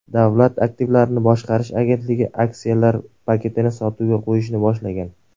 Davlat aktivlarini boshqarish agentligi aksiyalar paketini sotuvga qo‘yishni boshlagan.